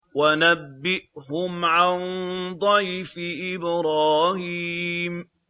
وَنَبِّئْهُمْ عَن ضَيْفِ إِبْرَاهِيمَ